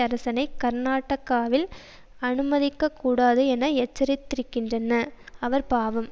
அரசனை கர்நாடகாவில் அனுமதிக்க கூடாது என எச்சரித்திருக்கின்றன அவர் பாவம்